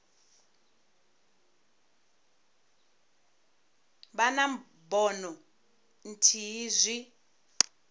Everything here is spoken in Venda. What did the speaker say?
vha na bono ithihi zwi